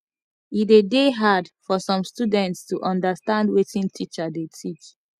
e de dey hard for some students to understand wetin teacher de teach